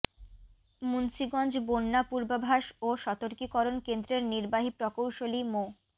মুন্সিগঞ্জ বন্যা পূর্বাভাস ও সতর্কীকরণ কেন্দ্রের নির্বাহী প্রকৌশলী মো